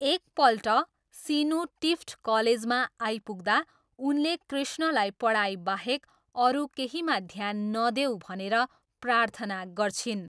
एकपल्ट सिनु टिफ्ट कलेजमा आइपुग्दा, उनले कृष्णलाई पढाइबाहेक अरू केहीमा ध्यान नदेऊ भनेर प्रार्थना गर्छिन्।